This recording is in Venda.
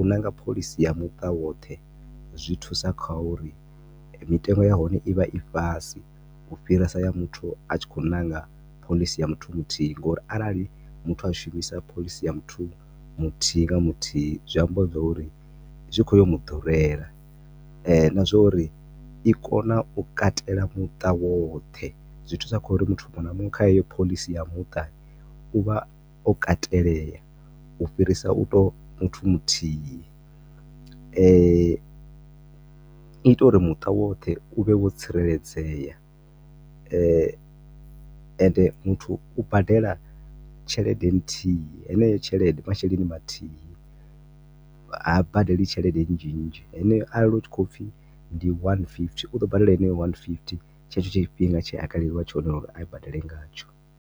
u nanga phoḽisi ya muṱa woṱhe zwi thusa kha uri mitengo ya hone i vha i fhasi, ufhirisa ya muthu a tshi khou ṋanga phoḽisi ya muthu muthihi ngo uri arali muthu a shumisa phoḽisi ya muthu mithihi nga muthihi, zwi amba zwo uri zwi khou ya u mu ḓurela, na zwo uri i kona u katela muta woṱhe, zwi thusa kha uri muthu munwe na munwe kha heyo phoḽisi ya muṱa uvha o katelea u fhirisa u tovha muthu muthihi, i ita uri muṱa woṱhe u vhe wo tsireledzea ende muthu u badela tshelede nthihi, heneyo tshelede, masheleni mathihi, ha badeli tshelede nzhinzhi, heneyo arali hu tshi khou upfi ndi one fifty, u ḓo badela heneyo one fifty tshetsho tshifhinga tshe a kaleliwa tshone u ri a yi badele nga tsho.